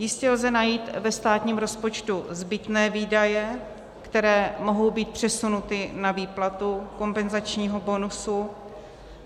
Jistě lze najít ve státním rozpočtu zbytné výdaje, které mohou být přesunuty na výplatu kompenzačním bonusu.